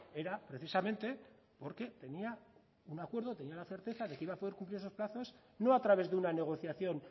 era precisamente porque tenía un acuerdo tenía la certeza de que iba a poder cubrir esos plazos no a través de una negociación